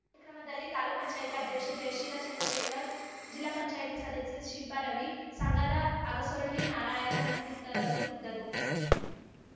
ಕಾರ್ಯಕ್ರಮದಲ್ಲಿ ತಾಲೂಕ್ ಪಂಚಾಯ್ತಿ ಅಧ್ಯಕ್ಷೆ ಜಯಶೀಲ ಚಂದ್ರಶೇಖರ್‌ ಜಿಲ್ಲಾ ಪಂಚಾಯ್ತಿ ಸದಸ್ಯೆ ಶಿಲ್ಪ ರವಿ ಸಂಘದ ಅಗಸೊಳ್ಳಿ ನಾರಾಯಣ ಮತ್ತಿತರರು ಇದ್ದರು